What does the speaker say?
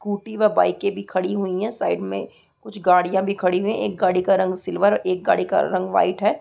Scooty व बाइके भी खड़ी हुई है साइड में कुछ गाड़िया भी खड़ी हुए है एक गाड़ी का रंग का सिल्वर एक गाड़ी का रंग वाइट है।